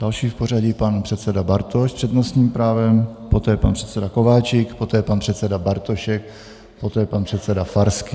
Další v pořadí pan předseda Bartoš s přednostním právem, poté pan předseda Kováčik, poté pan předseda Bartošek, poté pan předseda Farský.